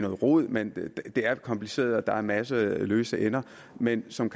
rod men det er kompliceret og der er en masse løse ender men som